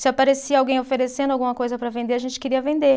Se aparecia alguém oferecendo alguma coisa para vender, a gente queria vender.